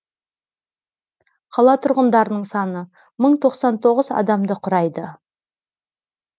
қала тұрғындарының саны мың тоқсан тоғыз адамды құрайды